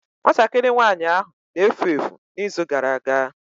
Nwatakịrị nwanyị ahụ na-efu efu n'izu gara aga.